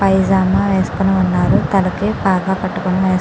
పైజమా వేసుకొని వున్నారు తలకి పాగా పెట్టుకొని వున్నారు.